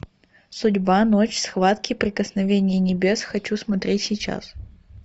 судьба ночь схватки прикосновение небес хочу смотреть сейчас